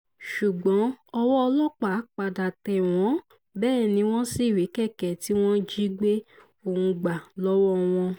ṣùgbọ́n ọwọ́ ọlọ́pàá padà tẹ̀ wọ́n bẹ́ẹ̀ ni wọ́n sì rí kẹ̀kẹ́ tí wọ́n jí gbé ohùn gbà lọ́wọ́ wọn